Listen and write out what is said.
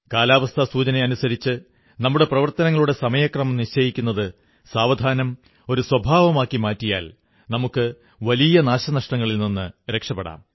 കാലാവസ്ഥാ സൂചനയനുസരിച്ച് നമ്മുടെ പ്രവർത്തനങ്ങളുടെ സമയക്രമം നിശ്ചയിക്കുത് സാവധാനം ഒരു സ്വഭാവമാക്കി മാറ്റിയാൽ നമുക്ക് വലിയ നാശനഷ്ടങ്ങളിൽ നിന്നു രക്ഷപ്പെടാം